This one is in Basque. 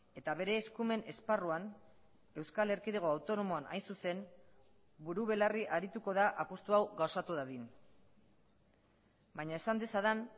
eta bere eskumen esparruan euskal erkidego autonomoan hain zuzen buru belarri arituko da apustu hau gauzatu dadin baina esan dezadan